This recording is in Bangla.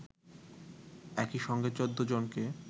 একই সঙ্গে ১৪ জনকে